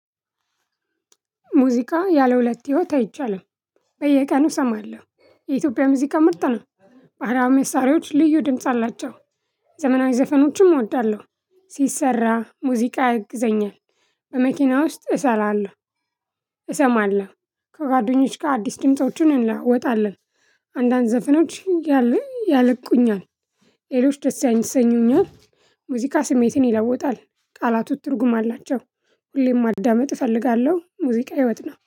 ሙዚቃ ያለሁለት ህይወት አይቻልም በየቀኑ እሰማለሁ የኢትዮጵያ ሙዚቃ ምርጥ ነው። ባህላዊ መሳሪያዎች ልዩ ድምጽ አላቸው። ዘመናዊ ዘፈኖችም እወዳለሁ። ሲሰራ ሙዚቃ ያግዘኛል። በመኪና ውስጥ እሰራለሁ። እሰማለሁ ከጓደኞች ጋር አዲስ ድምፆችን እንለዋወጣለን። አንዳንድ ዘፍኖች ያሉኝ ያለቁኛል። ሌሎች ደስ ያሰኙኛል። ሙዚቃ ስሜትን ይለውጣል። ቃላቱ ትርጉም አላቸው። ሁሌም ማዳመጥ እፈልጋለሁ ሙዚቃ ህይወት ነው